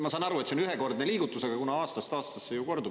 Ma saan aru, et see on ühekordne liigutus, aga aastast aastasse see ju kordub.